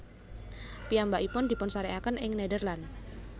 Piyambakipun dipunsarékaken ing Nederland